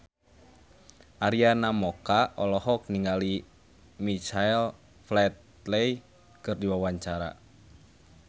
Arina Mocca olohok ningali Michael Flatley keur diwawancara